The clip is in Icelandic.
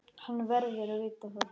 Hann verður að vita það.